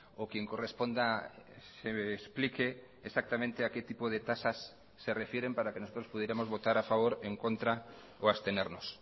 o quien corresponda se explique exactamente a qué tipo de tasas se refieren para que nosotros pudiéramos votar a favor en contra o abstenernos